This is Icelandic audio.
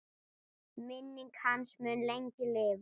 Minning hans mun lengi lifa.